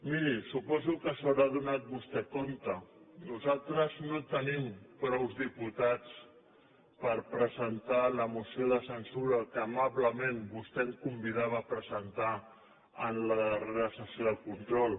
miri suposo que se n’haurà adonat nosaltres no tenim prou diputats per presentar la moció de censura que amablement vostè em convidava a presentar en la darrera sessió de control